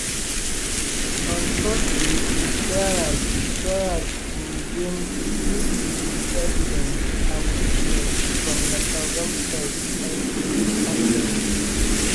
on thursday di trial di trial go resume to deal with di evidence and witnesses from gachagua side until late afternoon.